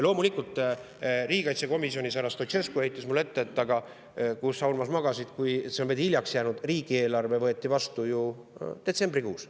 Loomulikult, riigikaitsekomisjonis härra Stoicescu heitis mulle ette, et aga kus sa, Urmas, magasid, sa oled hiljaks jäänud, riigieelarve võeti vastu ju detsembrikuus.